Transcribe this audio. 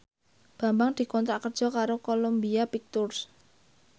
Bambang dikontrak kerja karo Columbia Pictures